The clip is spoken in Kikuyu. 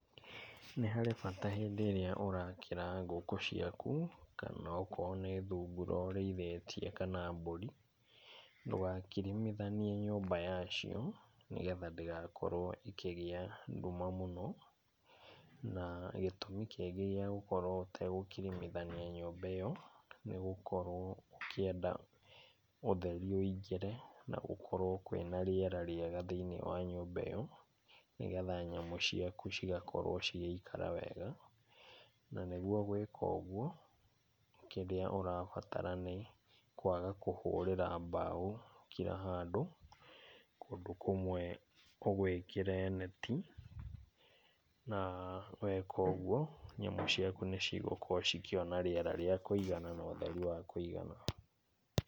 Nĩharĩ bata rĩrĩa ũrakĩra ngũkũ ciaku kana okorwo nĩ thungura ũrĩithĩtiĩ kana mburi. Ndũgakirimithanie nyũmba ya cio nĩgetha ndĩgakorwo ikĩgĩa nduma mũno na gĩtumi kĩngĩ ya gũkorwo ũtagũkirimithania nyũmba ĩo, nĩgũkorwo ũkĩenda ũtheri woingĩre na gũkorwo kwĩna rĩrĩa rĩega thĩiniĩ wa nyũmba ĩo nĩgetha nyamũ ciaku cigĩikara wega na nĩguo gwĩka ũguo kĩrĩa ũrabatara nĩ kwaga kũhũrĩra mbao kila handũ kũndũ kũmwe ũgwĩkĩre neti na weka ũguo nyamũ ciaku nĩigũkorwo ikĩona rĩrĩa rĩa kũigana na ũtheri wakũigana .